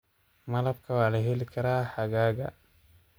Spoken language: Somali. Malabka waa la heli karaa xagaaga.